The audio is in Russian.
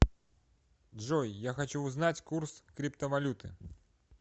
джой я хочу узнать курс криптовалюты